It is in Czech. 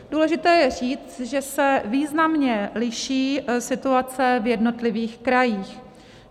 Důležité je říct, že se významně liší situace v jednotlivých krajích.